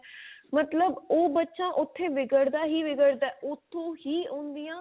ਮਤਲਬ ਉਹ ਬਚਾ ਉਥੇ ਵਿਗੜਦਾ ਹੀ ਵਿਗੜਦਾ ਉਥੋਂ ਹੀ ਉਹਦੀਆਂ